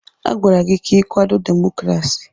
Agwara gị ka ị kwado demokrasi!